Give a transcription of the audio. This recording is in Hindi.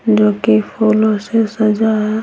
जो कि फूलों से सजा है।